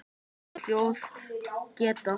Þessi hljóð geta